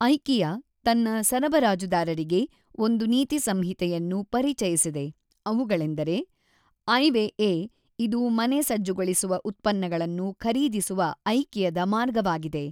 IKEA ತನ್ನ ಸರಬರಾಜುದಾರರಿಗೆ ಒಂದು ನೀತಿ ಸಂಹಿತೆಯನ್ನು ಪರಿಚಯಿಸಿದೆ ಅವುಗಳೆಂದರೆ ಐವೇಎ ಇದು ಮನೆ ಸಜ್ಜುಗೊಳಿಸುವ ಉತ್ಪನ್ನಗಳನ್ನು ಖರೀದಿಸುವ ಐಕಿಯದ ಮಾರ್ಗವಾಗಿದೆ.